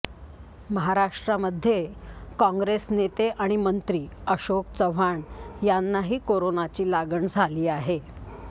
महाराष्ट्रामध्ये काँग्रेस नेते आणि मंत्री अशोक चव्हाण यांनाही कोरोनाची लागण झाली आहे